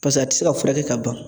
Pasik'a tɛ se ka furakɛ ka ban.